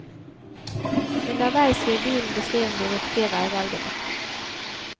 Underveis gir bilen beskjed om de riktige veivalgene.